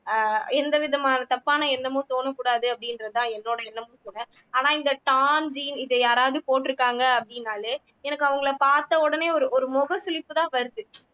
ஆஹ் எந்த விதமான தப்பான எண்ணமும் தோணக்கூடாது அப்படின்றதுதான் என்னோட எண்ணமும் கூட ஆனா இந்த torn jean இது யாராவது போட்டுருக்காங்க அப்படினாலே எனக்கு அவங்களை பார்த்தவுடனே ஒரு ஒரு முக சுளிப்புதான் வருது